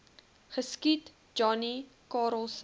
geskiet johnny karelse